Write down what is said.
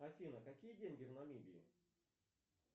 афина какие деньги в намибии